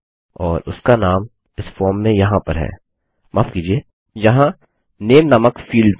और उसका नाम इस फॉर्म में यहाँ पर है माफ़ कीजिये यहाँ नामे नामक फील्ड में